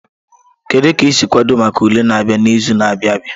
Kedu ka ị si kwado maka ule na-abịa n'izu na-abịa abia?